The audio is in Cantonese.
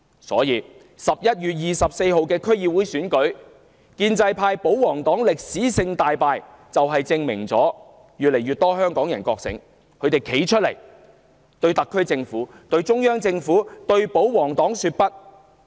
在11月24日的區議會選舉中，建制派、保皇黨歷史性大敗，正好證明越來越多香港人覺醒，站出來對特區政府、中央政府及保皇黨說"不"。